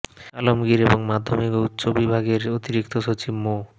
আলমগীর এবং মাধ্যমিক ও উচ্চশিক্ষা বিভাগের অতিরিক্ত সচিব মো